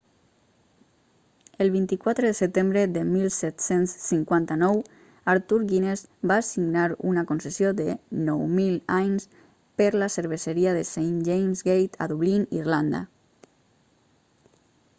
el 24 de setembre de 1759 arthur guinness va signar una concessió de 9.000 anys per la cerveseria de st james' gate a dublín irlanda